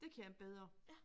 Det kan jeg bedre